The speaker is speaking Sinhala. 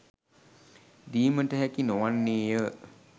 දීමට හැකි නොවන්නේය